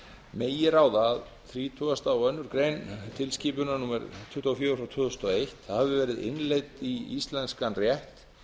megi ráða að þrítugasta og aðra grein tilskipunar tvö þúsund og ein tuttugu og fjögur e b hafi verið innleidd í íslenskan rétt